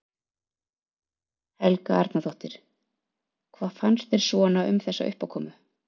Helga Arnardóttir: Hvað fannst þér svona um þessa uppákomu?